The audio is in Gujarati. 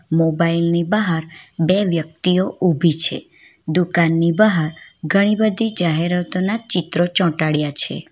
મોબાઇલની બહાર બે વ્યક્તિઓ ઉભી છે દુકાનની બહાર ઘણી બધી જાહેરાતો ના ચિત્રો ચોંટાડ્યા છે.